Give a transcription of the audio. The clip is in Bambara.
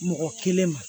Mɔgɔ kelen ma